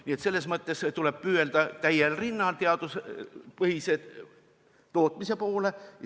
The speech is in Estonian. Nii et selles mõttes tuleb täiel rinnal püüelda teaduspõhise tootmise poole.